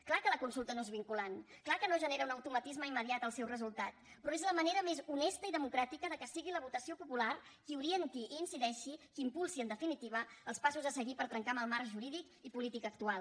clar que la consulta no és vinculant clar que no genera un automatisme immediat el seu resultat però és la manera més honesta i democràtica que sigui la votació popular qui orienti i hi incideixi qui impulsi en definitiva els passos a seguir per trencar amb el marc jurídic i polític actual